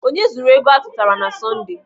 Onye zuru ego atụtara na Sọnde?